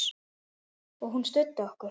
Og hún studdi okkur.